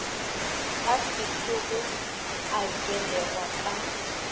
a sešogo a belegwa ka